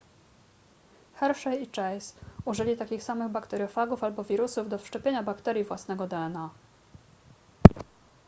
hershey i chase użyli takich samych bakteriofagów albo wirusów do wszczepienia bakterii własnego dna